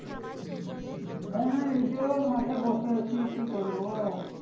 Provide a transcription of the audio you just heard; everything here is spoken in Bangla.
হ্যাঁ এইজ মাঠেই বসে আছি কি আর করবো।